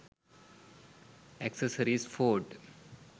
accessories ford